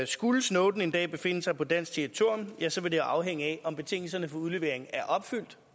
skulle snowden en dag befinde sig på dansk territorium ja så vil det afhænge af om betingelserne for udlevering er opfyldt